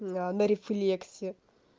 на рефлекси